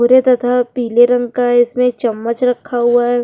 भूरे तथा पीले रंग का इसमें चम्मच रक्खा हुआ है।